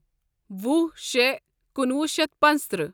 وُہ شےٚ کُنوُہ شیتھ پانٛژتٕرٛہ